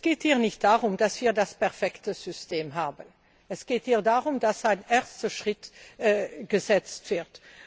Es geht hier nicht darum, dass wir das perfekte System haben. Es geht hier darum, dass ein erster Schritt getan wird.